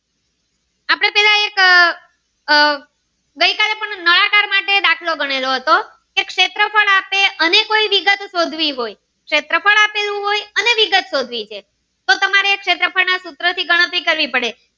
એક આહ ગઈ કાલે પણ નળાકાર માટે દાખલો ગણેલો હતો કે શેત્રફ્ળ આપે અને વિગત સિંધવી હોય શેત્રફ્ળ આપેલું હોય અને વિગત શોધવી છે તો તમારે આ સૂત્ર થી ગણતરી કરવી પડે.